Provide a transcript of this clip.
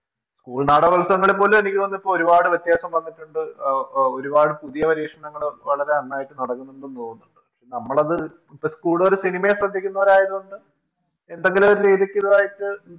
School നാടകോത്സവങ്ങളിൽ എനിക്ക് തോന്നിന്ന് ഇപ്പൊരുപാട് പുതിയ വ്യത്യാസം വന്നിട്ടുണ്ട് ഒരുപാട് പുതിയ പരീക്ഷണങ്ങള് വളരെ നന്നായിട്ട് നടക്കുന്നുണ്ടെന്ന് തോന്നുന്നു പക്ഷെ നമ്മളത് ഇപ്പൊ കൂടുതല് സിനിമയെ ശ്രെദ്ധിക്കുന്നവരായതുകൊണ്ട് എന്തെങ്കിലൊരു രീതിക്കുള്ളതായിട്ട്